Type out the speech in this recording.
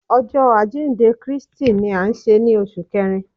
Ọjọ ajinde Kristi ni a nṣe ni oṣu Kẹrin